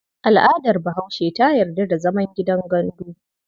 Al'adar Bahaushe ta yarda da zaman gandu.